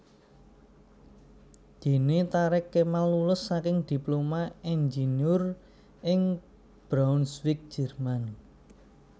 Dene Thareq Kemal lulus saking Diploma Inggeneur ing Braunsweig Jerman